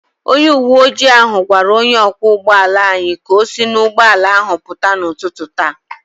Onye uwe ojii ahụ gwara onye ọkwọ ụgbọ ala anyị ka o si n’ụgbọala ahụ pụta n’ụtụtụ taa